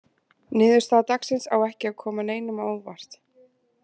Niðurstaða dagsins á ekki að koma neinum á óvart.